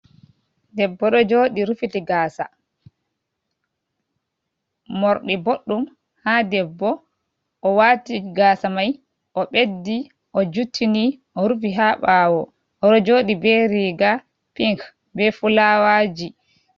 Debbo ɗo jodi rufiti gasa. Morɗi boɗɗum ha debbo owati gasa mai o'beddi, ojuttini, orufi ha ɓawo, oɗo joɗi be riga pink be fulawaji.